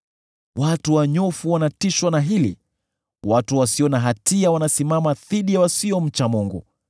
Watu wanyofu wanatishwa na hili; watu wasio na hatia wanasimama dhidi ya wasiomcha Mungu.